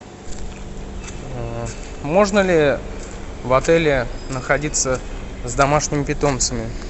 можно ли в отеле находиться с домашними питомцами